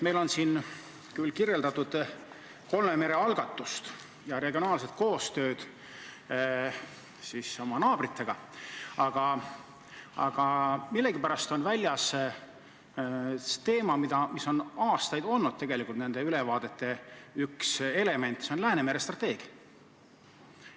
Meil on siin kirjeldatud kolme mere algatust ja regionaalset koostööd oma naabritega, aga millegipärast on välja jäetud teema, mis tegelikult on aastaid olnud nende ülevaadete üks element – see on Läänemere strateegia.